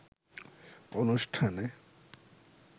অনুষ্ঠানে